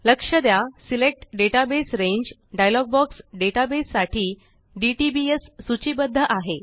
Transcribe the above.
लक्ष द्या select database रांगे डायलॉग बॉक्स डेटाबेस साठी डीटीबीएस सूचीबद्ध आहे